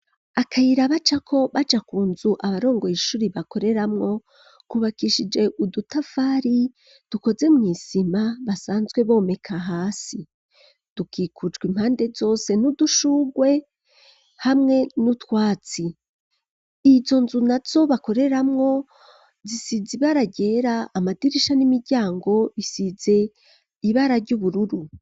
Akayira bacako baja kunzu abarongoye ishuri bakoreramwo kubakishije udutafari dukoze mu isima basanzwe bomeka hasi, dukikucwa impande zose n'udushurwe hamwe n'utwatsi izo nzu na zo bakoreramwo zisize ibara ryera ,amadirisha n'imiryango bisize ibara ry'ubururu.